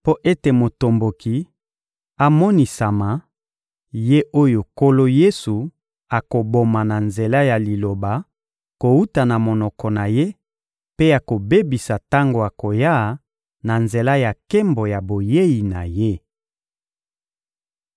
mpo ete motomboki amonisama, ye oyo Nkolo Yesu akoboma na nzela ya Liloba kowuta na monoko na Ye mpe akobebisa tango akoya na nzela ya nkembo ya boyei na Ye.